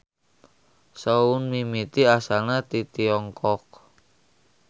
Soun mimiti asalna ti Tiongkok.